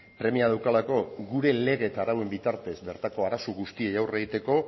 premia daukalako gure lege eta arauen bitartez bertako arazo guztiei aurre egiteko